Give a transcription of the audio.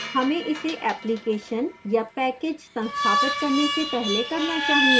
हमें इसे application या package संस्थापित करने से पहले करना चाहिए